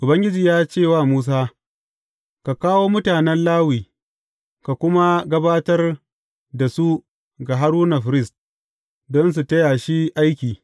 Ubangiji ya ce wa Musa, Ka kawo mutanen Lawi, ka kuma gabatar da su ga Haruna firist, don su taya shi aiki.